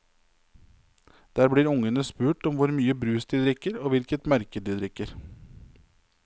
Der blir ungene spurt om hvor mye brus de drikker og hvilket merke de drikker.